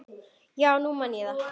Já, nú man ég það.